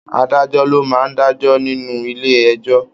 Adájọ lọ máa n dajọ nínú ilé ẹjọ.